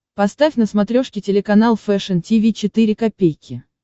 поставь на смотрешке телеканал фэшн ти ви четыре ка